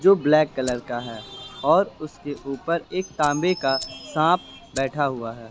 Black colour का है और उसके ऊपर एक तांबे का सांप बैठा हुआ हैं।